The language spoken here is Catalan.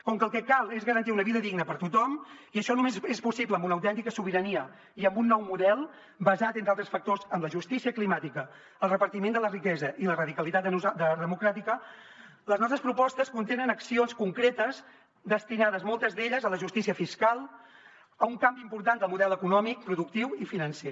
com que el que cal és garantir una vida digna per tothom i això només és possible amb una autèntica sobirania i amb un nou model basat entre altres factors en la justícia climàtica el repartiment de la riquesa i la radicalitat democràtica les nostres propostes contenen accions concretes destinades moltes d’elles a la justícia fiscal a un canvi important del model econòmic productiu i financer